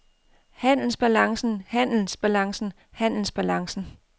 handelsbalancen handelsbalancen handelsbalancen